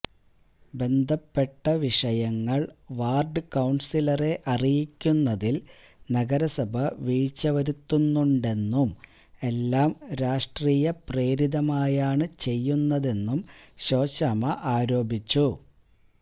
ബന്ധപ്പെട്ട വിഷയങ്ങൾ വാർഡ്കൌൺസിലറെ അറിയിക്കുന്നതിൽ നഗരസഭ വീഴ്ചവരുത്തുന്നുണ്ടെന്നും എല്ലാം രാഷ്ട്രീയപ്രേരിതമായാണ് ചെയ്യുന്നതും ശോശാമ്മ ആരോപിച്ചു